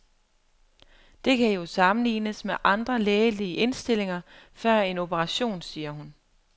Det kan jo sammenlignes med andre lægelige indstillinger før en operation, siger hun.